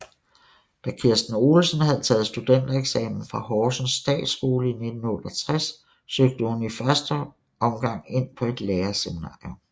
Da Kirsten Olesen havde taget studentereksamen fra Horsens Statsskole i 1968 søgte hun i første omgang ind på et lærerseminarium